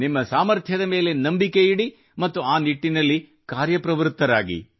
ನಿಮ್ಮ ಸಾಮರ್ಥ್ಯದ ಮೇಲೆ ನಂಬಿಕೆಯಿಡಿ ಮತ್ತು ಆ ನಿಟ್ಟಿನಲ್ಲಿ ಕಾರ್ಯಪ್ರವ್ರತ್ತರಾಗಿ